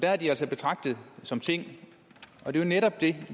er de altså betragtet som ting det er jo netop det